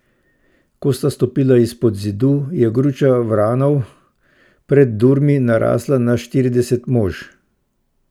Ko sta stopila izpod Zidu, je gruča vranov pred durmi narasla na štirideset mož.